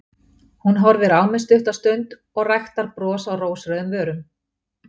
Hún horfir á mig stutta stund og ræktar bros á rósrauðum vörum.